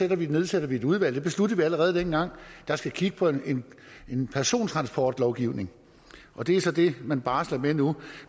vil nedsætte et udvalg det besluttede vi allerede dengang der skal kigge på en persontransportlovgivning og det er så det man barsler med nu